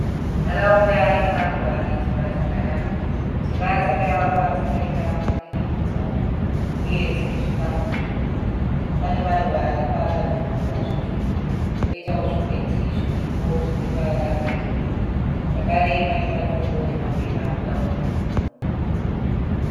Nharaunda ine maruva ane dzimba dzakanaka. Dzimba dzakavakwa dzakaita mudurikidzwana uye dzine zvikamu zviviri. Pane maruva aripo akatumbuka zvitsvuku, poitawo zvikwenzi zviripo zvine ruvara rwegirini. Zvakare pane matombo nemapepa anoda kunhongwa.